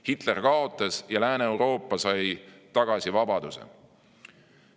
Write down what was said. Hitler kaotas ja Lääne-Euroopa sai tagasi vabaduse.